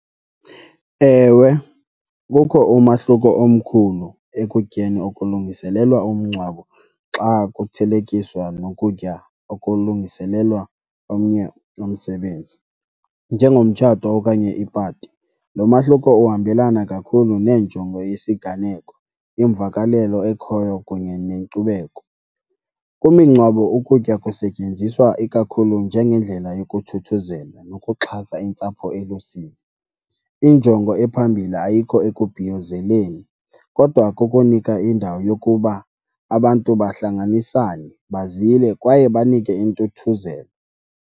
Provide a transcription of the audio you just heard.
Ewe, kukho umahluko omkhulu ekutyeni okulungiselelwa umngcwabo xa kuthelekiswa nokutya okulungiselelwa omnye umsebenzi njengomtshato okanye ipati. Lo mahluko uhambelana kakhulu nenjongo yesiganeko, imvakalelo ekhoyo kunye nenkcubeko. Kumingcwabo ukutya kusetyenziswa ikakhulu njengendlela yokuthuthuzela nokuxhasa intsapho elusizi. Injongo ephambili ayikho ekubhiyozeleni kodwa kukunika indawo yokuba abantu bahlanganisane, bazile kwaye banike intuthuzelo.